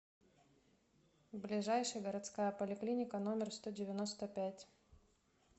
ближайший городская поликлиника номер сто девяносто пять